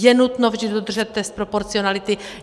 Je nutno vždy dodržet test proporcionality.